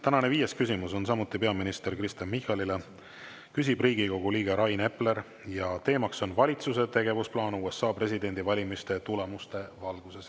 Tänane viies küsimus on samuti peaminister Kristen Michalile, küsib Riigikogu liige Rain Epler ja teema on valitsuse tegevusplaan USA presidendivalimiste tulemuste valguses.